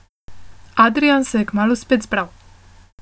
Adrijan se je kmalu spet zbral.